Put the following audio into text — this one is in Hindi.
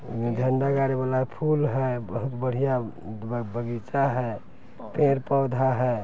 झंडा गाड़े वाला फूल है बहुत बढ़िया ब-बगीचा है पेड़ पौधा है।